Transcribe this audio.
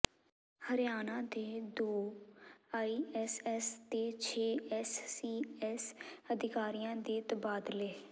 ਹਰਿਆਣਾ ਦੇ ਦੋ ਆਈਏਐਸ ਤੇ ਛੇ ਐਸਸੀਐਸ ਅਧਿਕਾਰੀਆਂ ਦੇ ਤਬਾਦਲੇ